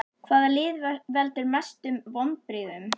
Hvaða lið veldur mestu vonbrigðum?